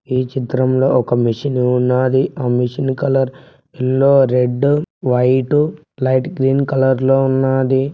ఈ చిత్రంలో ఒక మెషిను ఉన్నాది ఆ machine colour yellow red white light green colour లో ఉన్నాది.